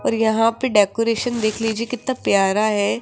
और यहां पे डेकोरेशन देख लीजिए कितना प्यारा है।